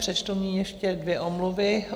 Přečtu nyní ještě dvě omluvy.